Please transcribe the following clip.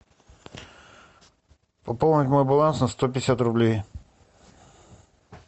пополнить мой баланс на сто пятьдесят рублей